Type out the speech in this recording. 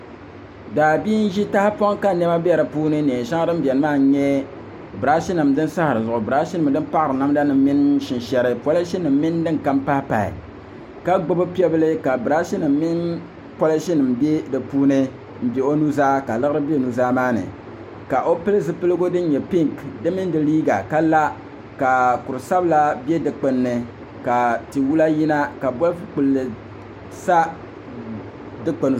Daa bia n zi tahipɔŋ ka ka nɛma bɛ di puuni nɛn shɛŋa din bɛni maa n yɛ brashi nima sin sahari zuɣu brashi nim paɣari namda nima mini shinshɛri pɔlishi nima mini dini kam pahipahi ka gbubi pɛɣu bilfu ka brashi nima mini pɔlishi nima bɛ di puuni n bɛ o nu zaa ka liɣiri bɛ o nu zaa maa ni ka o pili zipiligu dini yɛ pinki di mini di liiga ka la ka kuri sabila bɛ du kpuni ni ka tiwula yina ka bolifu kpulli sa dukpuni zuɣu.